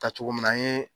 Tacogo min na an ye